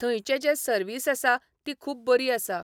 थंयचे जे सर्वीस आसा ती खूब बरी आसा.